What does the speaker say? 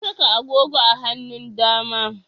Na saka agogo a hanun dama